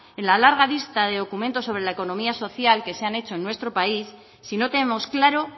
en la larga lista de documentos sobre la economía social que se han hecho en nuestro país si no tenemos claro